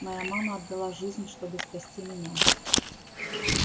моя мама отдала жизнь чтобы спасти меня